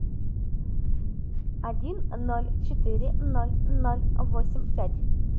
один ноль четыре ноль ноль восемь пять